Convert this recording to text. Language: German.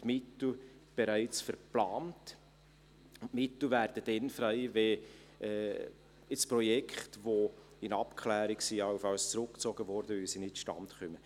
Mittel werden dann frei, wenn Projekte, die in Abklärung sind, allenfalls zurückgezogen werden, weil sie nicht zustande kommen.